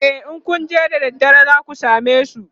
e in Kun je da daddare zaku samesu